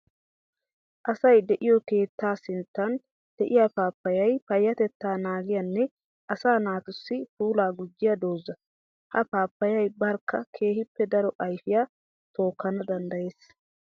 Asay de'iyo keetta sinttan de'iya paappayay payatetta naagiyanne asaa naatussi puula gujiya dooza. Ha paappayay barkka keehippe daro ayfiya tookkana danddayes.